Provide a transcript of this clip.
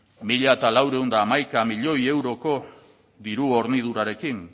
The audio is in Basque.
mila laurehun eta hamaika milioi euroko diru hornidurarekin